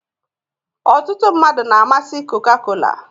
ọtụtụ mmadụ na-amasị coca-cola